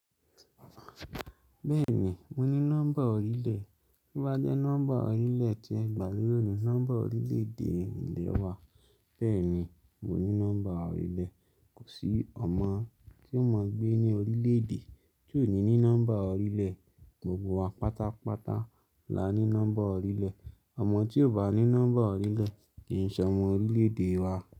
Bẹ́ẹ̀ni, mo ní nọ́mbà orílẹ̀. To bá jẹ́ nọ́mbà ọrílẹ̀ tí ẹ gbà lórí òní, nọ́mbà orílẹ̀-èdè ìlẹ̀ wa. Bẹ́ẹ̀ni, mo ní nọ́mbà ọrílẹ̀. Kò sí ọmọ tí ó mọ gbé ní orílẹ̀-èdè tí ò ní ní nọ́mbà orílẹ̀. Gbogbo wa pátápátá la ní nọ́mbà orílẹ̀. Ọmọ tí ò bá ní nọ́mbà ọrílẹ̀ kì í ṣ'ọmọ orílẹ̀-èdè wa.